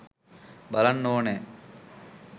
බලන්න ඕනේ